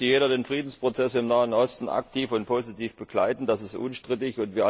Natürlich möchte jeder den Friedensprozess im Nahen Osten aktiv und positiv begleiten, das ist unstrittig.